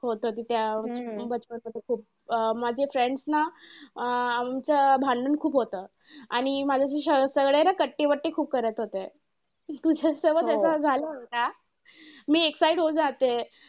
हो तधी त्या मध्ये खूप माझे friends आमचं भांडण खूप होतं आणि माझ्याशी सगळे ना कट्टी बट्टी खूप करत होते. तुझ्यासोबत असं झालं होतं का? मी excite होऊ जाते.